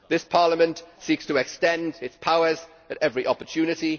This Parliament seeks to extend its powers at every opportunity